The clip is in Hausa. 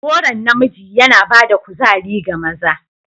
Goron namiji yana ba da kuzari ga maza.